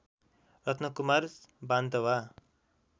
Ratnakumar Wantawa